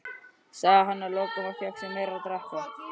sagði hann að lokum og fékk sér meira að drekka.